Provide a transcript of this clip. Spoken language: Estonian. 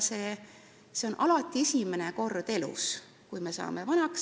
See juhtub alati esimest korda elus, kui me vanaks saame.